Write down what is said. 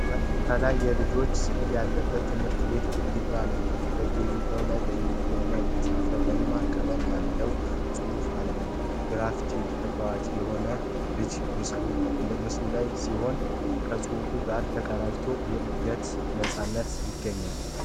ከላይ የልጆች ስዕሎች ያለበት የትምህርት ቤት ግድግዳ ነው። በግድግዳው ላይ በእንግሊዝኛ የተጻፈ ደማቅ ቀለም ያለው ጽሑፍ አለ። ግራፍቲው ተጫዋች የሆኑ ልጆች ምስሎች ያሉት ሲሆን፣ ከጽሑፉ ጋር ተቀናጅቶ የእድገትን ነፃነት ይገልጻል።